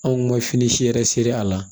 Anw ka fini si yɛrɛ seri a la